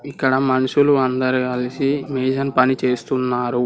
ఇక్కడ మనుషులు అందరు కల్సి మేషన్ పని చేస్తున్నారు.